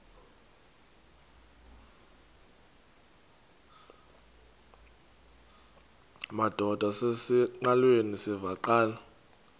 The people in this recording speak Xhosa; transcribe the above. madod asesihialweni sivaqal